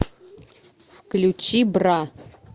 включи бра